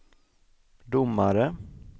domare